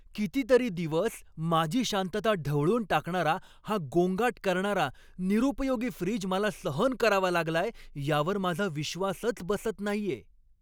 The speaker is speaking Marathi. कितीतरी दिवस माझी शांतता ढवळून टाकणारा हा गोंगाट करणारा, निरुपयोगी फ्रिज मला सहन करावा लागलाय यावर माझा विश्वासच बसत नाहीये!